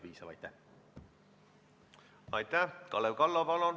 Nii et te saite õigesti aru.